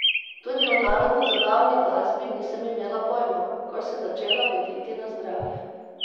Tudi o narodnozabavni glasbi nisem imela pojma, ko sem začela voditi Na zdravje!